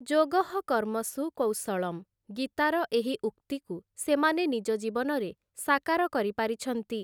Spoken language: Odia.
ଯୋଗଃ କର୍ମସୁ କୌଶଳମ୍, ଗୀତାର ଏହି ଉକ୍ତିକୁ ସେମାନେ ନିଜ ଜୀବନରେ ସାକାର କରିପାରିଛନ୍ତି ।